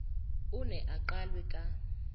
o neng o qalwe ka